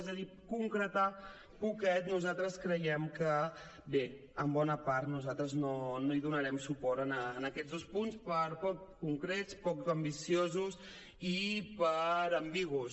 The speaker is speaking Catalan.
és a dir concretar poquet nosaltres creiem que bé en bona part nosaltres no hi donarem suport a aquests dos punts per poc concrets poc ambiciosos i per ambigus